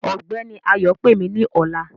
Ọgbẹni Ayọ̀ pẹ̀ mí ní ọ̀là.